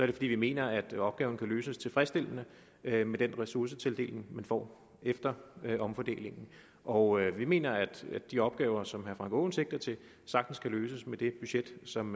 det fordi vi mener at opgaven kan løses tilfredsstillende med med den ressourcetildeling man får efter omfordelingen og vi mener at de opgaver som herre frank aaen sigter til sagtens kan løses med det budget som